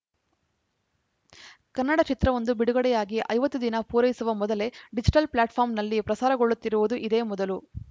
ಕನ್ನಡ ಚಿತ್ರವೊಂದು ಬಿಡುಗಡೆಯಾಗಿ ಐವತ್ತು ದಿನ ಪೂರೈಸುವ ಮೊದಲೇ ಡಿಜಿಟಲ್‌ ಪ್ಲಾಟ್‌ಫಾಮ್‌ರ್‍ನಲ್ಲಿ ಪ್ರಸಾರಗೊಳ್ಳುತ್ತಿರುವುದು ಇದೇ ಮೊದಲು